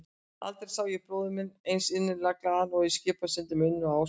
Aldrei sá ég bróður minn eins innilega glaðan og í Skipasundi með Unni og Ásu.